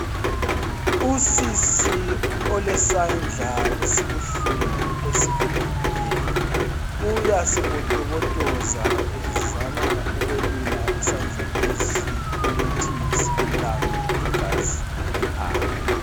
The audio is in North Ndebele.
Usisi olesandla esibuhlungu, esivuvukileyo uyasibotobotoza. Uzama ukwelula isandla lesi, ukuthi silulame. Igazi lihambe.